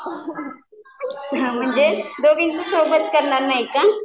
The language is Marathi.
म्हणजे दोघींचं सोबत करणार नाही का?